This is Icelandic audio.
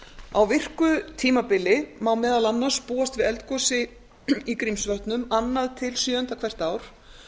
á virku tímabili má meðal annars búast við eldgosi í grímsvötnum annars til sjöunda hvert ár